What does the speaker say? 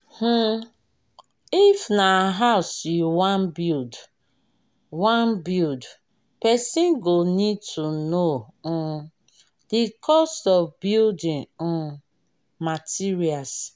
um if na house you wan build person wan build person go need to know um di cost of building um materials